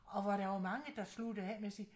Og hvor der var mange der sluttede af med at sige